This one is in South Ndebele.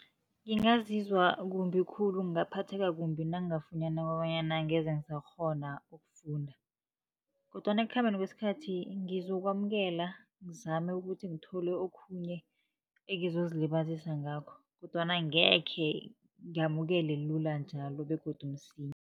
Ngingazizwa kumbi khulu, ngingaphatheka kumbi, nangingafunyana kobanyana angeze ngisakghona ukufunda. Kodwana ekukhambeni kwesikhathi ngizokwamukela ngizame ukuthi ngithole okhunye, engizozilibazisa ngakho. Kodwana angekhe ngamukele lula njalo begodu msinya.